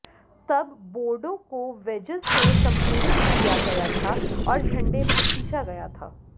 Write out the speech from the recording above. तब बोर्डों को वेजेस से संपीड़ित किया गया था और झंडे में खींचा गया था